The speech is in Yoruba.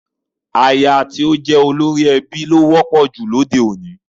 Aya tí ó jẹ́ olórí ẹbí ló wọ́pọ̀ jù lóde òní